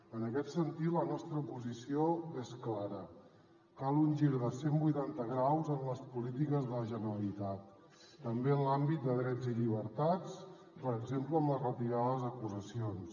en aquest sentit la nostra posició és clara cal un gir de cent vuitanta graus en les polítiques de la generalitat també en l’àmbit de drets i llibertats per exemple amb la retirada de les acusacions